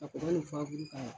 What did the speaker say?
Ka kɔgɔ ni fuwaburu k'a la.